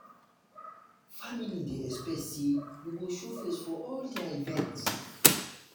family dey dey expect say you go show face for all their events.